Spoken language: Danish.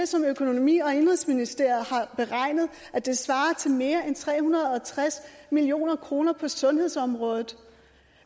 som økonomi og indenrigsministeriet har beregnet svarer til mere end tre hundrede og tres million kroner på sundhedsområdet